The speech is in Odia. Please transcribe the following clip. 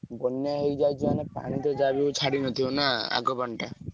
ବନ୍ୟା ହେଇ ଯାଇଛି ମାନେ ପାଣି ତ ଯାହା ବି ହଉ ଛାଡି ନଥିବ ନା ଆଗ ପାଣିଟା?